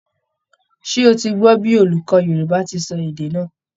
Ṣé ó ti gbọ́ bí olùkọ́ Yorùbá ti sọ èdè náà?